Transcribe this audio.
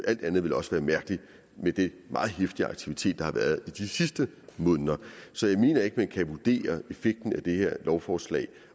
alt andet ville også være mærkeligt med den meget heftige aktivitet der har været i de sidste måneder så jeg mener ikke at man kan vurdere effekten af det her lovforslag